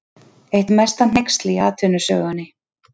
Eitt mesta hneyksli í atvinnusögunni